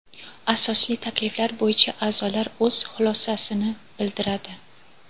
asosli takliflar bo‘yicha aʼzolar o‘z xulosasini bildiradi.